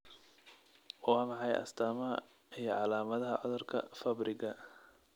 Waa maxay astamaha iyo calaamadaha cudurka Fabriga?